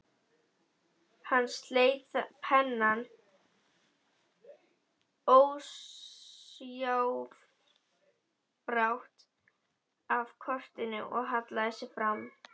Hann sleit pennann ósjálfrátt af kortinu og hallaði sér fram.